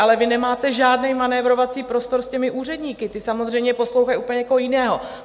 Ale vy nemáte žádný manévrovací prostor s těmi úředníky, ti samozřejmě poslouchají úplně někoho jiného.